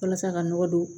Walasa ka nɔgɔ don